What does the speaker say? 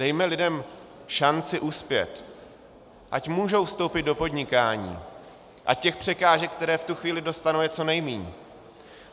Dejme lidem šanci uspět, ať můžou vstoupit do podnikání, ať těch překážek, které v tu chvíli dostanou, je co nejmíň.